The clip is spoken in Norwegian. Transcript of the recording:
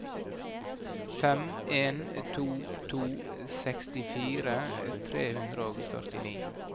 fem en to to sekstifire tre hundre og førtini